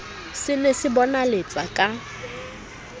se ne se bonaletsa ka